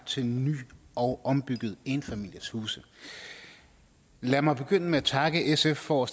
til ny og ombyggede enfamilieshuse lad mig begynde med at takke sf for